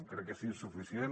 crec que és insuficient